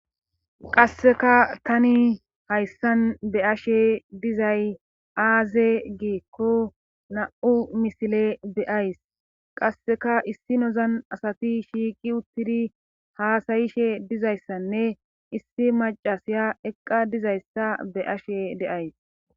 qasseka tani hayssan be ashe dizay aaze giekko na'u misile deays qasseka issi nozan asati shiiqi uttidi haasayishe dizayssanne issi macasiya eqqa dizayssa be'ashe deays